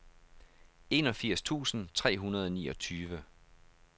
enogfirs tusind tre hundrede og niogtyve